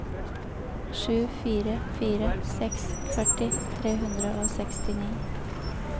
sju fire fire seks førti tre hundre og sekstini